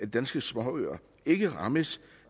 danske småøer ikke rammes